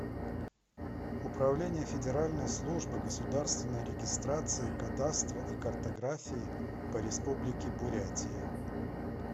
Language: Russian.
управление федеральной службы государственной регистрации кадастра и картографии по республике бурятия